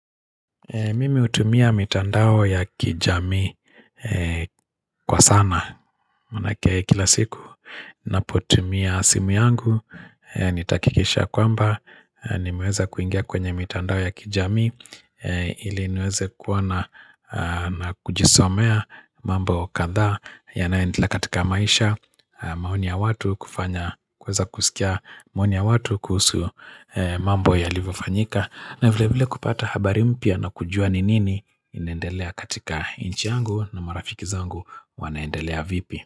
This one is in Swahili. Mimi hutumia mitandao ya kijamii kwa sana Maanake kila siku ninapotumia simu yangu Nitahakikisha kwamba nimeweza kuingia kwenye mitandao ya kijamii ili niweze kuwa na na kujisomea mambo katha yanayoentelea katika maisha Mahoni ya watu kufanya kweza kusikia maoni ya watu kuhusu mambo yalivyofanyika. Na vile vile kupata habari mpya na kujua ni nini inaendelea katika nchi yangu na marafiki zangu wanaendelea vipi.